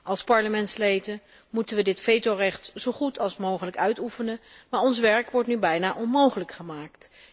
Als Parlementsleden moeten we ons vetorecht zo goed mogelijk uitoefenen, maar ons werk wordt nu bijna onmogelijk gemaakt.